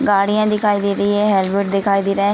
गाड़ियां दिखाई दे रही हैं हेलमेट दिखाई दे रहा है।